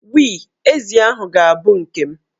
We, ezi ahụ ga-abụ nke m.